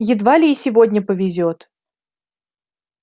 едва ли и сегодня повезёт